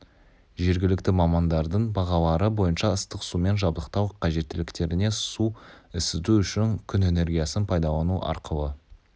жергілікті мамандардың бағалары бойынша ыстық сумен жабдықтау қажеттіліктеріне су ысыту үшін күн энергиясын пайдалану арқылы